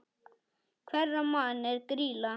Hverra manna er Grýla?